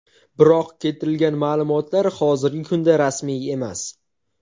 Biroq keltirilgan ma’lumotlar hozirgi kunda rasmiy emas.